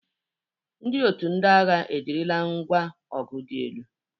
Ndị otu ndị agha ejirila ngwa ọgụ dị elu.